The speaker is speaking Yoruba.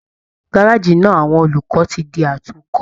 Gárájí náà àwọn olùkọ ti di àtúnkọ́.